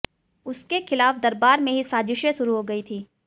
उसके खिलाफ दरबार में ही साजिशें शुरू हो गई थीं